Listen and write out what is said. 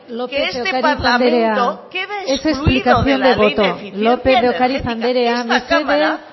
que este parlamento queda excluido de la ley de eficiencia energética lópez de ocariz andrea es explicación de voto esta cámara